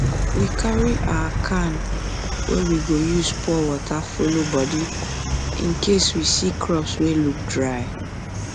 we carry our can wey we go use use pour water follow body incase we see crops wey look dry